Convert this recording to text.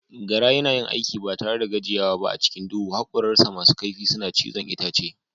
Gara yana yin aiki ba tare da gajiyawa ba a cikin duhu, hakoransa masu kaifi suna cizon itace.